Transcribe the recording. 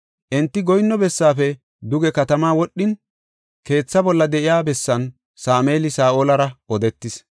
Enti goyinno bessaafe duge katama wodhin, keetha bolla de7iya bessan Sameeli Saa7olara odetis.